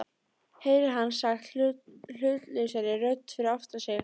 heyrir hann sagt hlutlausri rödd fyrir aftan sig.